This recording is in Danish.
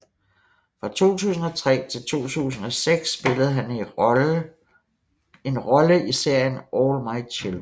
Fra 2003 til 2006 spillede han en rolle i serien All My Children